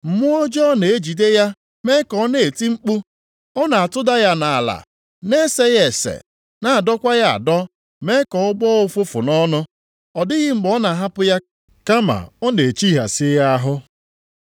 Mmụọ ọjọọ na-ejide ya mee ka ọ na-eti mkpu. Ọ na-atụda ya nʼala, na-ese ya ese, na-adọkwa ya adọ mee ka ọ na-agbọ ụfụfụ nʼọnụ. Ọ dịghị mgbe ọ na-ahapụ ya kama ọ na-echihịasị ya ahụ.